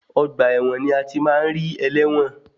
Ọgbà ẹ̀wọ̀n ni a ti máa ń ri ẹlẹ́wọ̀n.